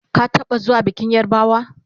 ka taɓa zuwa bikin yarbawa?